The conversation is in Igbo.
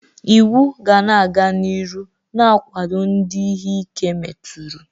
Iwu ga-aga n'iru na-agwado ndị ihe ike meturu.